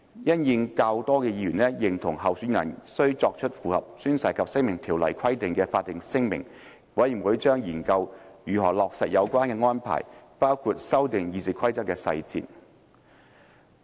因應較多議員認同候選人須作出符合《宣誓及聲明條例》規定的法定聲明，委員會將研究如何落實有關安排，包括修訂《議事規則》的細節。